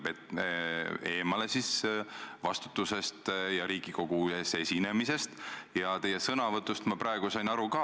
Kaitsta Eestit riigisiseselt, aga kaitsta Eestit ka meie rahvusvahelistes ühendustes – olgu see ÜRO, olgu see NATO, olgu see Euroopa Liit.